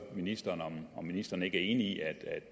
ministeren om ministeren ikke er enig i